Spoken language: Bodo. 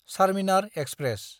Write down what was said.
चार्मिनार एक्सप्रेस